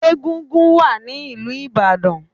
Egúngún wà ní ìlú Ìbàdàn.